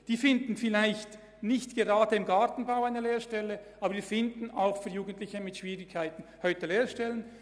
Diese Jugendlichen finden vielleicht nicht gerade im Gartenbau eine Lehrstelle, aber wir finden heute auch für Jugendliche mit Schwierigkeiten Lehrstellen.